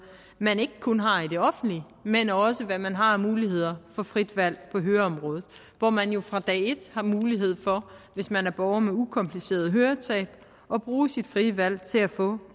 man ikke kun har i det offentlige men også hvad man har af muligheder for frit valg på høreområdet hvor man jo fra dag et har mulighed for hvis man er borger med ukompliceret høretab at bruge sit frie valg til at få